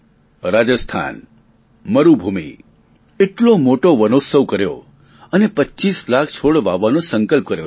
રાજસ્થાન મરૂભૂમિ એટલો મોટો વનોત્સવ કર્યો અને પચીસ લાખ છોડ વાવવાનો સંકલ્પ કર્યો છે